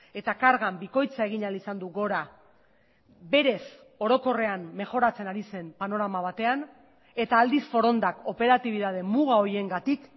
eta kargan bikoitza egin ahal izan du gora berez orokorrean mejoratzen ari zen panorama batean eta aldiz forondak operatibitate muga horiengatik